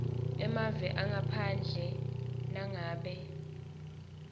emave ngaphandle nangabe